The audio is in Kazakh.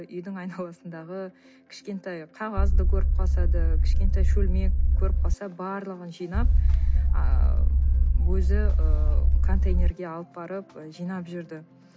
үйдің айналасындағы кішкентай қағазды көріп қалса да кішкентай шөлмек көріп қалса барлығын жинап ыыы өзі ыыы контейнерге алып барып ы жинап жүрді